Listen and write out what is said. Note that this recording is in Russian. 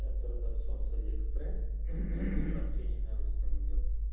продавцом с алиэкспресс общение на русском идёт